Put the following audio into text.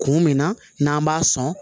Kun min na n'an b'a sɔn